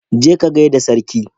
Ka je ka gaida Sarki.